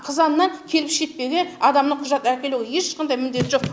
қызаннан келіп шетпеге адамның құжат әкелуі ешқандай міндеті жоқ